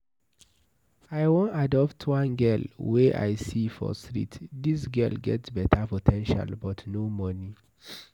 I wan adopt one girl wey I see for street, dis girl get beta po ten tial but no money.